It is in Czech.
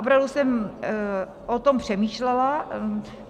opravdu jsem o tom přemýšlela.